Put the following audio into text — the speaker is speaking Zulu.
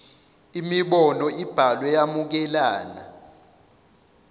imibono ibhalwe yamukelana